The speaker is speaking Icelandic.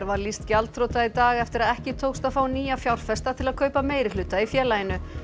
var lýst gjaldþrota í dag eftir að ekki tókst að fá nýja fjárfesta til að kaupa meirihluta í félaginu